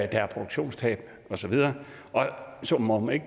der er produktionstab og så videre og som om man